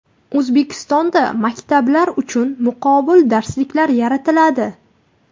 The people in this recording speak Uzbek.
O‘zbekistonda maktablar uchun muqobil darsliklar yaratiladi.